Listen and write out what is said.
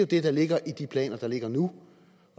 det der ligger i de planer der ligger nu